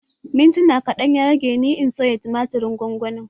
Mintuna kaɗan ya ɗauke ni in soya tumatirin gwangwanin